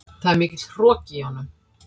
Það er mikill hroki í honum.